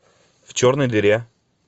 в черной дыре